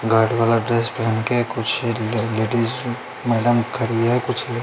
guard वाला dress पेहन के कुछ लेडिज मैडम खड़ी है कुछ --